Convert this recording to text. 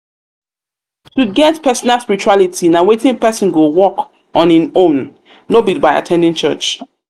to get personal spirituality na wetin person go work person go work on in own no be by at ten ding church